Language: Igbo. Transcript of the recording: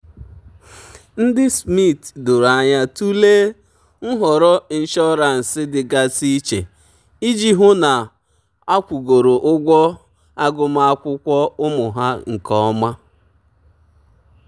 ndị mma na mpa nnukwu ahụ na-eji ngwa akwụmụgwọ mkpanaka nyefee ego n'aka ụmụ ụmụ ha nke ọma.